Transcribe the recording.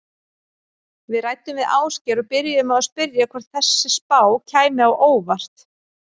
Við ræddum við Ásgeir og byrjuðum á að spyrja hvort þessi spá kæmi á óvart?